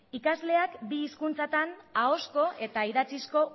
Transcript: ikasleak bi hizkuntzatan ahozko eta idatzizko